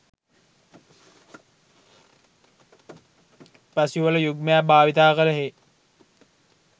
උපැස් යුවල යුග්මයක් භාවිත කළ හේ